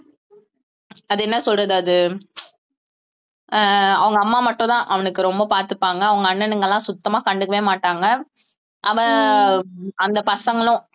அது என்ன சொல்றது அது அஹ் அவங்க அம்மா மட்டும்தான் அவனுக்கு ரொம்ப பாத்துப்பாங்க அவுங்க அண்ணனுங்களா சுத்தமா கண்டுக்கவே மாட்டாங்க அவன் அந்த பசங்களும்